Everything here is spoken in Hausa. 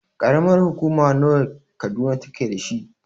Ƙaramar hukuma nawa ne Kaduna take dashi?